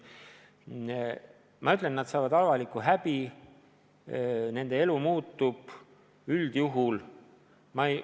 Ma ütlen, et nad saavad karistuseks avaliku häbi, nende elu üldjuhul muutub.